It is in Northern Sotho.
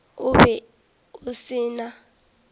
o be o se na